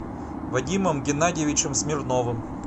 вадимом геннадьевичем смирновым